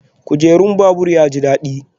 Kujerun babur ya ji daɗi?